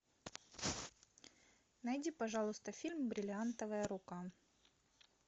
найди пожалуйста фильм бриллиантовая рука